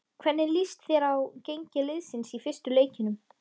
Hvernig lýst þér á gengi liðsins í fyrstu leikjunum?